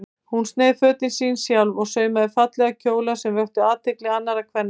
Hún sneið fötin sín sjálf og saumaði fallega kjóla sem vöktu athygli annarra kvenna.